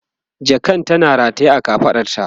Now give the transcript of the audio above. jakan tana rataye a kafaɗarta